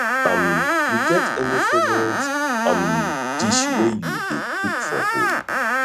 um you get any favorite um dish wey you dey cook for home